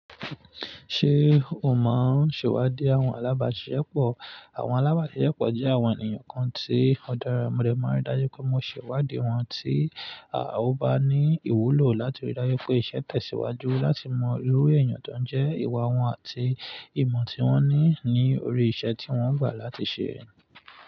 Ṣé o mọ ṣẹwádìí àwọn alábàsiṣepọ̀? Àwọn alábàsiṣepọ̀ jẹ́ àwọn ènìyàn kan tí ó dára, mo lè máa rí dájú pé mo ṣèwádìí wọn tí à ó bá ní ìwúlò láti rí dájú pé iṣẹ́ tẹ̀síwájú láti mọ irú èèyàn tań jẹ́ ìwà wọn àti ìmọ̀ tí wọ́n ní ní orí iṣẹ́ tí wọ́n gbà láti ṣe.